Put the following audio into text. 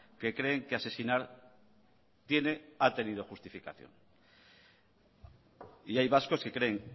que creen que asesinar tiene ha tenido justificación y hay vascos que creen